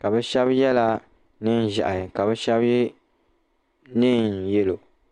ka bɛ shɛba yela neem'ʒɛhi ka shɛba ye neen'yelo.